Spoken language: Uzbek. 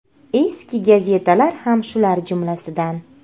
Eski gazetalar ham shular jumlasidan.